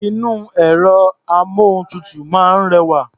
Inú ẹ̀rọ-amóhuntutù náà rẹwà.